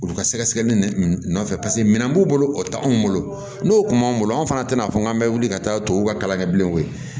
Olu ka sɛgɛsɛgɛli nɔfɛ paseke minɛn b'u bolo o t'anw bolo n'o kun b'an bolo an fana tɛna fɔ k'an bɛ wuli ka taa tubabuw ka kalan kɛ bilenw ye